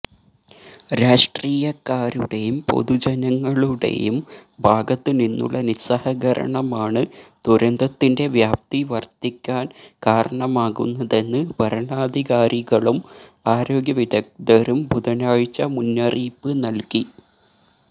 രാഷ്ട്രീയക്കാരുടെയും പൊതുജനങ്ങളുടേയും ഭാഗത്ത് നിന്നുള്ള നിസ്സഹകരണമാണ് ദുരന്തത്തിന്റെ വ്യാപ്തി വര്ദ്ധിക്കാന് കാരണമാകുന്നതെന്ന് ഭരണാധികാരികളും ആരോഗ്യ വിദഗ്ധരും ബുധനാഴ്ച മുന്നറിയിപ്പ് നൽകി